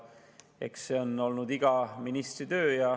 Eks see on olnud iga ministri töö.